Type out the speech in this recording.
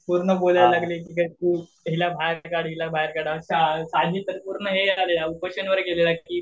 पूर्ण बोलायला लागली हिला बाहेर काढा हिला बाहेर काढा. साजिद तर पूर्ण उपोषण वर गेलेला की